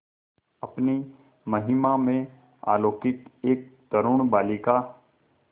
अपनी महिमा में अलौकिक एक तरूण बालिका